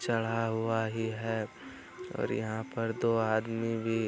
चढ़ा हुआ ही है और यहाँ पर दो आदमी भी --